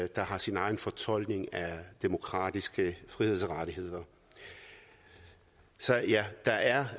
der har sin egen fortolkning af demokratiske frihedsrettigheder så ja der er